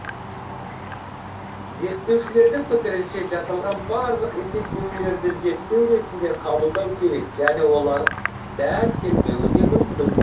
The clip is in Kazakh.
зерттеушілердің пікірінше жасалған барлық есептеулерді зерттеу ретінде қабылдау керек және олар дәл келмеуі де мүмкін